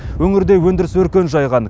өңірде өндіріс өркен жайған